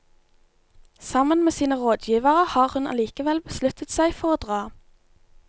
Sammen med sine rådgivere har hun allikevel besluttet seg for å dra.